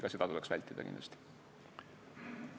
Ka seda tuleks kindlasti vältida.